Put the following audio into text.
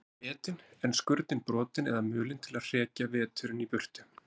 Þau voru etin, en skurnin brotin eða mulin til að hrekja veturinn í burtu.